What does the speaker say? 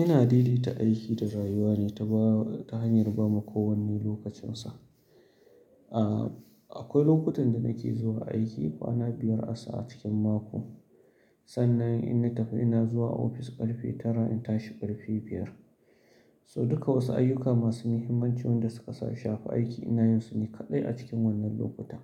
Ina daidaita aiki ta rayuwa ne ta ba, ta hanyar ba ma kowane lokacin sa. Aaa, akwai lokutan da nake zuwa aiki kwana biyar asa a cikin mako. Sannan in na tafi ina zuwa ofis ƙarfe tara, in tashi ƙarfe biyar. So duka wasu ayyuka masu muhimmanci wanda suka shafi aiki ina yin su ne kaɗai a cikin wannan lokuta.